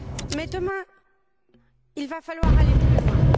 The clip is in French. Mais, demain, il va falloir aller plus loin.